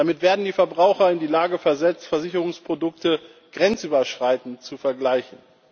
Damit werden die Verbraucher in die Lage versetzt, Versicherungsprodukte grenzüberschreitend zu vergleichen.